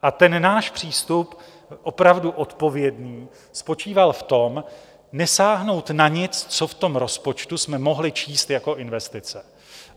A ten náš přístup opravdu odpovědný spočíval v tom, nesáhnout na nic, co v tom rozpočtu jsme mohli číst jako investice.